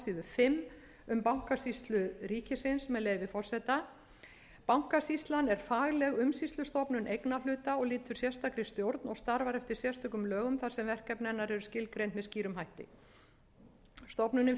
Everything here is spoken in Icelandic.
fimm um bankasýslu ríkisins með leyfi forseta bankasýslan er fagleg umsýslustofnun eignarhluta og lýtur sérstakri stjórn og starfar eftir sérstökum lögum þar sem verkefni hennar eru skilgreind með skýrum hætti stofnunin